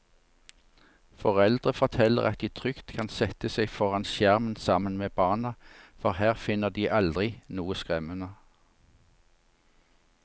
Foreldre forteller at de trygt kan sette seg foran skjermen sammen med barna, for her finner de aldri noe skremmende.